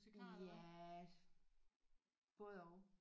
Ja både og